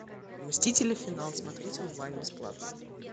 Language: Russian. мстители финал смотреть онлайн бесплатно